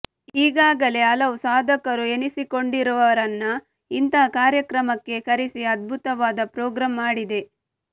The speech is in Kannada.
ಈಗಾಗಲೇ ಹಲವು ಸಾಧಕರು ಎನಿಸಿಕೊಂಡಿರುವವರನ್ನ ಇಂತಹ ಕಾರ್ಯಕ್ರಮಕ್ಕೆ ಕರೆಸಿ ಅದ್ಭುತವಾದ ಪ್ರೋಗ್ರಾಂ ಮಾಡಿದೆ